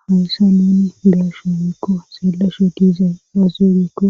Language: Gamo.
hawyssa nini lasho biikko seellasho diiza daaze giikko